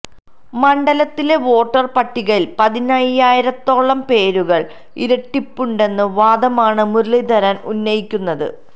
മണ്ഡലത്തിലെ വോട്ടർ പട്ടികയിൽ പതിനയ്യായിരത്തോളം പേരുകൾ ഇരട്ടിപ്പുണ്ടെന്ന വാദമാണ് മുരളീധരൻ ഉന്നയിക്കുന്നത്